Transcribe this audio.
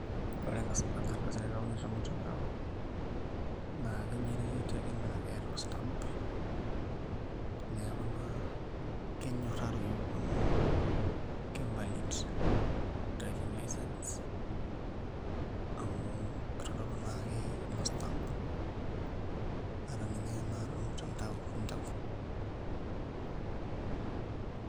Ore enkardasi naitauni tormutandao naa kigenerati ake neeta stamp neeku naa kenyorraroyu amu ke valid driving license amu kitodolu naake ilo stamp ata ninye tenaa tormutandao intawuo.